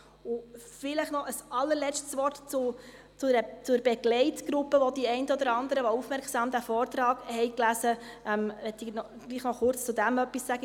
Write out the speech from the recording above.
Vielleicht noch ein allerletztes Wort zur Begleitgruppe, die den einen oder anderen, welche den Vortrag aufmerksam gelesen haben, vielleicht aufgefallen ist: